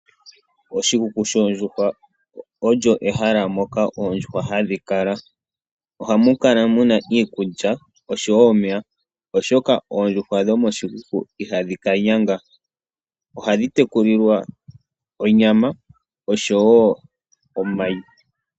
Oshikuku shoondjuhwa olyo ehala moka oondjuhwa hadhi kala . Ohamu kala muna iikulya oshowo omeya oshoka oondjuhwa dhomo shikuku ihadhi ka nyanga ohadhi tekulilwa onyama oshowo omayi.